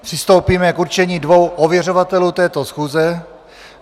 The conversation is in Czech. Přistoupíme k určení dvou ověřovatelů této schůze.